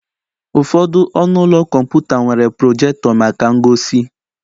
Ụfọdụ ọnụ ụlọ kọmputa nwere projector maka ngosi.